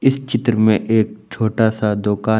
इस चित्र में एक छोटा सा दुकान--